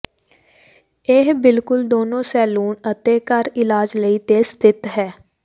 ਇਹ ਬਿਲਕੁਲ ਦੋਨੋ ਸੈਲੂਨ ਅਤੇ ਘਰ ਇਲਾਜ ਲਈ ਤੇ ਸਥਿਤ ਹੈ